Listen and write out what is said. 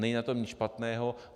Není na tom nic špatného.